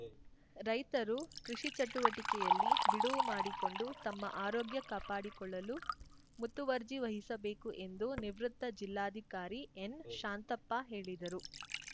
ರೈತರು ಕೃಷಿ ಚಟುವಟಿಕೆಯಲ್ಲಿ ಬಿಡುವು ಮಾಡಿಕೊಂಡು ತಮ್ಮ ಆರೋಗ್ಯ ಕಾಪಾಡಿಕೊಳ್ಳಲು ಮುತುವರ್ಜಿ ವಹಿಸಬೇಕು ಎಂದು ನಿವೃತ್ತ ಜಿಲ್ಲಾಧಿಕಾರಿ ಎನ್‌ ಶಾಂತಪ್ಪ ಹೇಳಿದರು